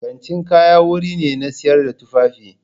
Kantin kaya wuri ne na sayar da tufafi.